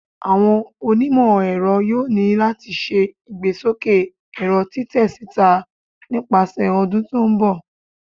Awọn onimọ-ẹrọ yoo ni lati ṣe igbesoke ẹrọ titẹ sita nipasẹ ọdun ti n bọ